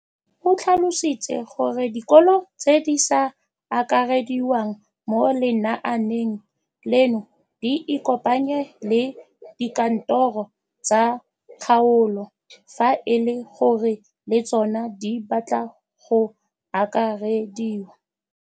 O tlhalositse gore dikolo tse di sa akarediwang mo lenaaneng leno di ikopanye le dikantoro tsa kgaolo fa e le gore le tsona di batla go akarediwa.